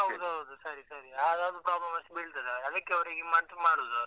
ಹೌದು ಹೌದು ಸರಿ ಸರಿ ಹಾಗಾಗಿ problem ಅಷ್ಟ್ ಬೀಳ್ತದೆ, ಅದಕ್ಕೆ ಅವ್ರಿಗೆ ಮತ್ತ್ ಮಾಡುದು.